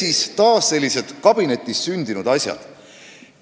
" Ehk need on taas sellised kabinetis sündinud asjad.